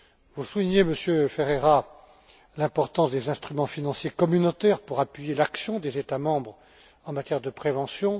Vous soulignez, Monsieur Ferreira, l'importance des instruments financiers communautaires pour appuyer l'action des États membres en matière de prévention.